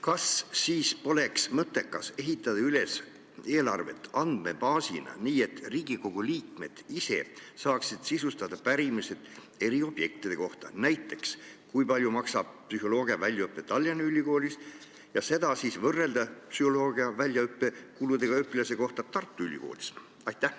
Kas siis poleks mõttekas ehitada eelarve üles andmebaasina, nii et Riigikogu liikmed ise saaksid sisustada pärimisi eri objektide kohta, näiteks kui palju maksab psühholoogiaväljaõpe Tallinna Ülikoolis, mida saaks siis võrrelda psühholoogiaväljaõppe kuludega õpilase kohta Tartu Ülikoolis?